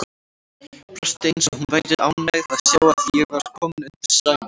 Brosti eins og hún væri ánægð að sjá að ég var kominn undir sæng.